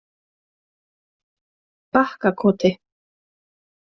Bakkakoti